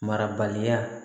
Marabaliya